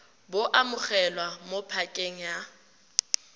bo amogelwa mo pakeng ya